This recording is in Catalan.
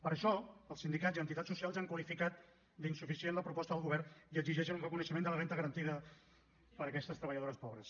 per això els sindicats i entitats socials han qualificat d’insuficient la proposta del govern i exigeixen un reconeixement de la renda garantida per a aquestes treballadores pobres